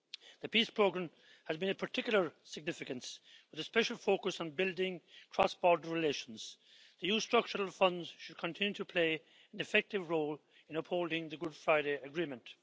The PEACE Programme has been of particular significance, with a special focus on building cross border relations. The EU Structural Funds should continue to play an effective role in upholding the Good Friday Agreement.